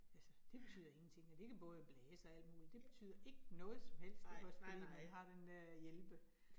Altså det betyder ingenting, og det kan både blæse og alt muligt, det betyder ikke noget som helst, det kan også spille når man har den dér hjælpe